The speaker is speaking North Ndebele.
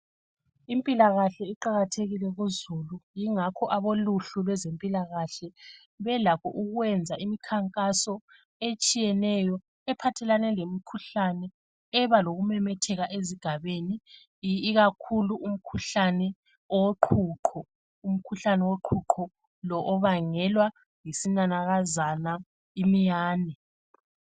Impilakahle iqalathekile kuzulu Ingakho aboluhlu lwezempilakahle belakho ukwenza imikhankaso etshiyeneyo ephathelane lemkhuhlane eba lokumemetheka ezigabeni ikakhulu umkhuhlane woqhuqho. Umkhuhlane woqhuqho lo obangelwa yisinanakazane imiyane